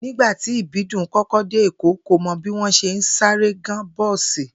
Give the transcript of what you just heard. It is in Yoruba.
Nígbà tí Ìbídùn kó̩ko̩ dé Èkó, kò mo̩ bí wó̩n s̩e ń sáré gán bó̩ò̩sì